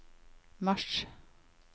mars